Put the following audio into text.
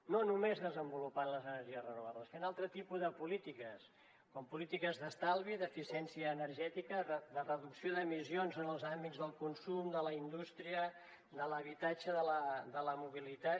no només desenvolupant les energies renovables fent un altre tipus de polítiques com polítiques d’estalvi d’eficiència energètica de reducció d’emissions en els àmbits del consum de la indústria de l’habitatge de la mobilitat